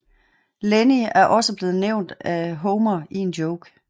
Lenny er også blevet nævnt af Homer i en joke